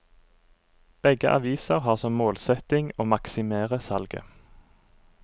Begge aviser har som målsetting å maksimere salget.